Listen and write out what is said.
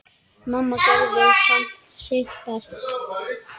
Mamma gerði samt sitt besta.